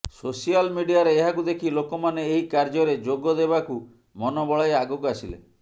social ମିଡିଆରେ ଏହାକୁ ଦେଖି ଲୋକମାନେ ଏହି କାର୍ୟ୍ୟରେ ଯୋଗ ଦେବାକୁ ମନ ବଳାଇ ଆଗକୁ ଆସିଲେ